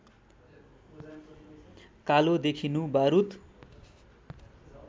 कालो देखिनु बारुद